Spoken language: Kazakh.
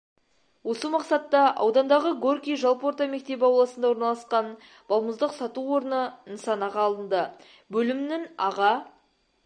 осы мақсатта аудандағы горький жалпы орта мектебі ауласында орналасқан балмұздақ сату орны нысанаға алынды бөлімінің аға